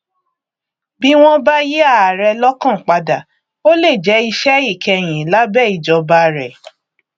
bí wọn bá yí ààrẹ lọkàn padà ó lè jẹ iṣẹ ìkẹyín lábẹ ìjọba rẹ